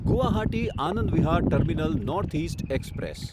Guwahati Anand Vihar terminal north east express